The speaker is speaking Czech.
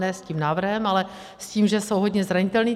Ne s tím návrhem, ale s tím, že jsou hodně zranitelní.